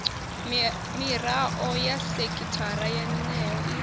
mirao ya sekithara yeneyo i